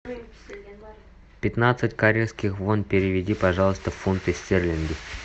пятнадцать корейских вон переведи пожалуйста в фунты стерлинги